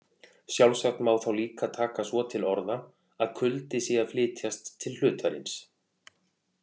Sjálfsagt má þá líka taka svo til orða að kuldi sé að flytjast til hlutarins.